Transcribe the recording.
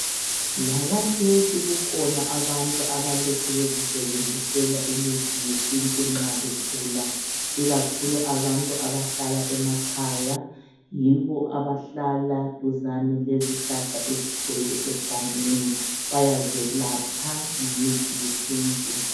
Lakathesi kuhona abantu abalokhe bezisebenzisela imithi yesintu nxa begula, ikakhulu abantu abahlala emakhaya, yibo abahlala duzane lezihlahla ezigcwele egangeni, bayazelapha ngemithi yesintu.